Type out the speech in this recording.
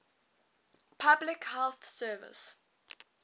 public health service